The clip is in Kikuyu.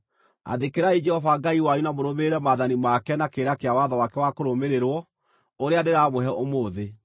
Athĩkĩrai Jehova Ngai wanyu na mũrũmĩrĩre maathani make na kĩrĩra kĩa watho wake wa kũrũmĩrĩrwo ũrĩa ndĩramũhe ũmũthĩ.”